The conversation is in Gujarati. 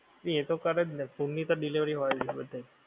એ તો કરે જ ને home ની તો delivery તો હોય જ બધાએ